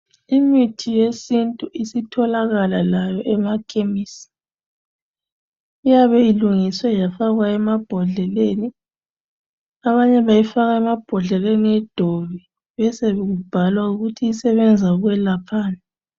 Imithi yesintu isitholakala layo emakhemisi. Iyabe ilungiswe yafakwa emabhodleleni. Abanye bayifaka emabhodleleni edobi besebebhala ukuthi isebenza ukwelaphani.